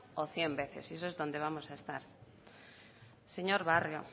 o cien veces y eso es donde vamos a estar señor barrio